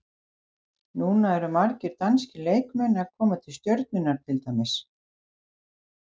Núna eru margir danskir leikmenn að koma til Stjörnunnar til dæmis.